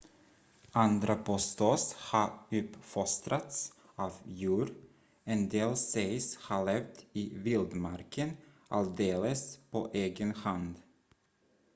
andra påstås ha uppfostrats av djur en del sägs ha levt i vildmarken alldeles på egen hand